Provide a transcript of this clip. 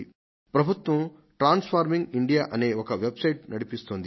ప్రభుత్వం transforming India అనే ఒక వెబ్సైట్ ను నడిపిస్తోంది